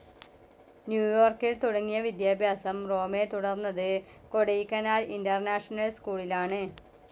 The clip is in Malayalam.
ന്യൂ യോർക്കിൽ തുടങ്ങിയ വിദ്യാഭ്യാസം റോമെ തുടർന്നത് കൊടൈക്കനാൽ ഇന്റർനാഷണൽ സ്കൂളിലാണ്.